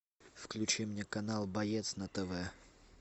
включи мне канал боец на тв